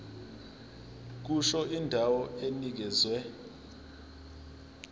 kusho indawo enikezwe